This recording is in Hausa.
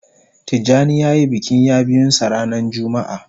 Tijani ya yi bikin ya biyun sa ranan jumma'a